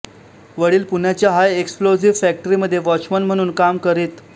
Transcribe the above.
वडील पुण्याच्या high explosive फॅक्टरीमध्ये वॉचमन म्हणून काम करीत